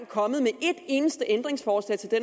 kommet med et eneste ændringsforslag til det